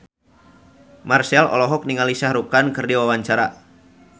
Marchell olohok ningali Shah Rukh Khan keur diwawancara